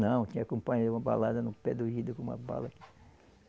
Não, tinha um companheiro uma balada no pé do ouvido com uma bala.